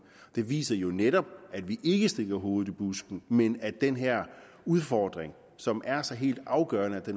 det viser jo netop at vi ikke stikker hovedet i busken men at den her udfordring som er så helt afgørende